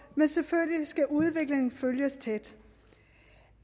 men selvfølgelig skal udviklingen følges tæt